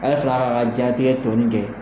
A ye sega k'a ka jatigɛ tɔɔni kɛ